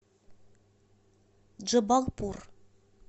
джабалпур